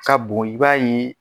Ka bon i b'a ye